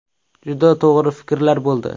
Juda to‘g‘ri fikrlar bo‘ldi.